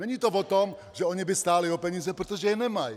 Není to o tom, že oni by stáli o peníze, protože je nemají.